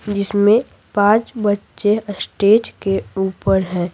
जिसमें पांच बच्चे स्टेज के ऊपर हैं।